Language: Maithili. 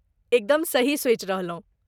एकदम सही सोचि रहलहुँ।